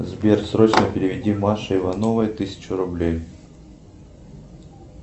сбер срочно переведи маше ивановой тысячу рублей